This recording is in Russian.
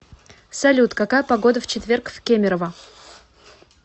салют какая погода в четверг в кемерово